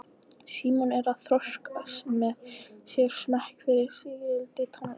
Símon er að þroska með sér smekk fyrir sígildri tónlist.